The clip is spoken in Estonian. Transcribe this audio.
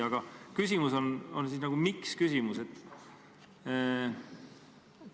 Aga mu küsimus on miks-küsimus.